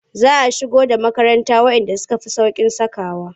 Za a shigo da makaranta waɗanda suka fi sauƙin sakawa.